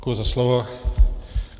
Děkuji za slovo.